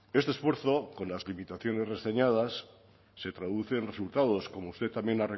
este esfuerzo con las limitaciones reseñadas se traduce en resultados como usted también